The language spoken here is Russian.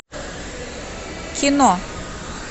кино